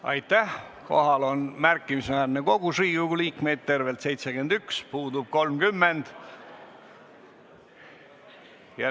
Kohaloleku kontroll Kohal on märkimisväärne kogus Riigikogu liikmeid, tervelt 71, puudub 30.